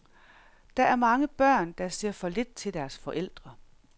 Der er mange børn, der ser for lidt til deres forældre.